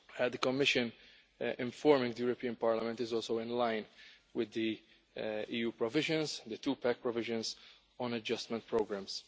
The Commission informing the European Parliament is also in line with the EU provisions, the two pack provisions, on adjustment programmes.